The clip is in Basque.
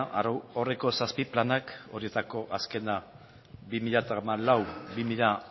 arau horrek zazpi planak horretako azkena bi mila hamalau barra bi mila